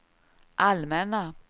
allmänna